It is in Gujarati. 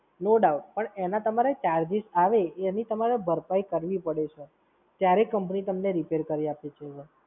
No doubt, પણ એના તમારે charges આવે એની તમારે ભરપાઈ કરવી પડે Sir ત્યારે Company તમને Repair કરી આપે છે Sir